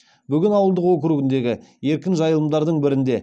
бөген ауылдық округіндегі еркін жайылымдардың бірінде